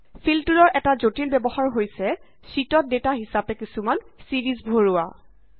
feel টুলৰ এটা জটিল ব্যৱহাৰ হৈছে শ্যিটত ডেটা হিচাপে কিছুমান ছিৰিজ ভাৰোৱা